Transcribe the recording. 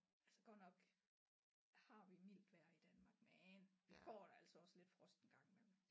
Altså godt nok har vi mildt vejr i Danmark men vi får da altså også lidt frost en gang imellem